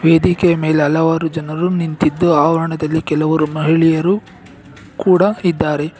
ವೇದಿಕೆಯ ಮೇಲೆ ಹಲವಾರು ಜನರು ನಿಂತಿದ್ದು ಆವರಣದಲ್ಲಿ ಕೆಲವರು ಮಹಿಳೆಯರು ಕೂಡ ಇದ್ದಾರೆ.